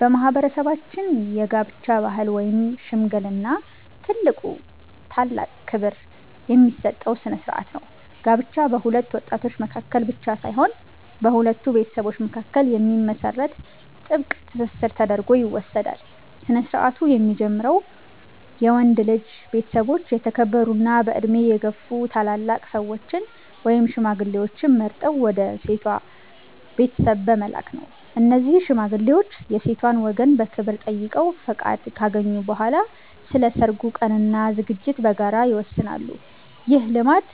በማህበረሰባችን የጋብቻ ባህል ውስጥ "ሽምግልና" ትልቁና ታላቅ ክብር የሚሰጠው ስነ-ስርዓት ነው። ጋብቻ በሁለት ወጣቶች መካከል ብቻ ሳይሆን በሁለት ቤተሰቦች መካከል የሚመሰረት ጥብቅ ትስስር ተደርጎ ይወሰዳል። ስነ-ስርዓቱ የሚጀምረው የወንድ ልጅ ቤተሰቦች የተከበሩና በዕድሜ የገፉ ታላላቅ ሰዎችን (ሽማግሌዎችን) መርጠው ወደ ሴቷ ቤተሰብ በመላክ ነው። እነዚህ ሽማግሌዎች የሴቷን ወገን በክብር ጠይቀው ፈቃድ ካገኙ በኋላ፣ ስለ ሰርጉ ቀንና ዝግጅት በጋራ ይወስናሉ። ይህ ልማድ